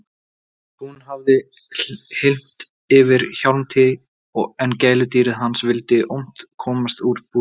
Hún hafði hylmt yfir Hjálmtý en gæludýrið hans vildi ólmt komast úr búrinu.